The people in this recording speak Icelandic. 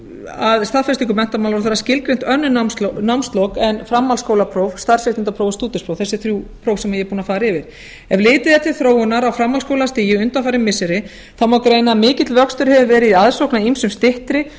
að staðfestingu menntamálaráðherra skilgreint önnur námslok en framhaldsskólapróf starfséttindapróf og stúdentspróf þessi þrjú próf sem ég er búin að fara yfir ef litið er til þróunar á framhaldsskólastigi undanfarin missiri þá má greina að mikill vöxtur hefur verið í aðsókn að ýmsum styttri